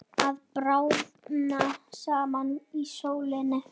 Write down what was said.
Að bráðna saman í sólinni